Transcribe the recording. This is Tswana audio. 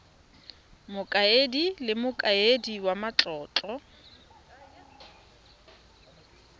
mokaedi le mokaedi wa matlotlo